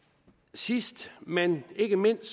sidst men ikke mindst